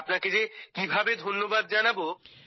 আপনাকে যে কিভাবে ধন্যবাদ জানাবো